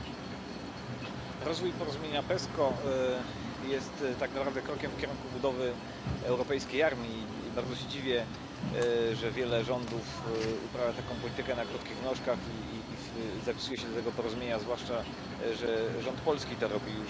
Panie Przewodniczący! Rozwój porozumienia PESCO jest tak naprawdę krokiem w kierunku budowy europejskiej armii i bardzo się dziwię, że wiele rządów uprawia taką politykę na krótkich nóżkach i zapisuje się do tego porozumienia, zwłaszcza że rząd polski to robi.